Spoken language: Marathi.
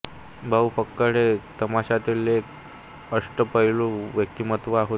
भाऊ फक्कड हे तमाशातील एक अष्टपैलू व्यक्तिमत्व होते